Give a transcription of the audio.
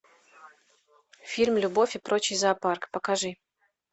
фильм любовь и прочий зоопарк покажи